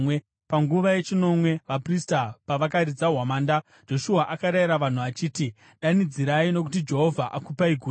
Panguva yechinomwe, vaprista pavakaridza hwamanda, Joshua akarayira vanhu achiti, “Danidzirai! Nokuti Jehovha akupai guta!